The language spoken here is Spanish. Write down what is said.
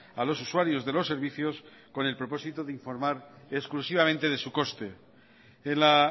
a los usuarios de los servicios con el propósito de informar exclusivamente de su coste en la